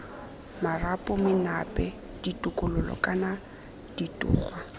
marapo menape ditokololo kana ditogwa